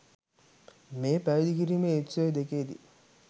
මේ පැවිදි කිරීමේ උත්සව දෙකේ දී